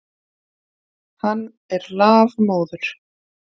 Hann er lafmóður.